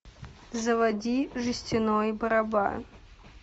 заводи жестяной барабан